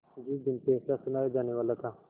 जिस दिन फैसला सुनाया जानेवाला था